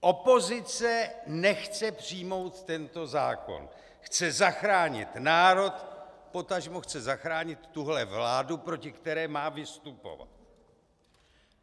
Opozice nechce přijmout tento zákon, chce zachránit národ, potažmo chce zachránit tuhle vládu, proti které má vystupovat.